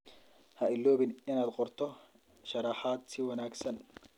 Ha iloobin inaad qorto sharaxaad si wanagsan.